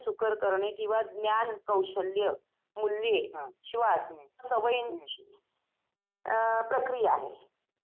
अ तिथे लहान मुलांसाठी वैगेरे खेळणी वगैरे अजून अ खायला वगैरे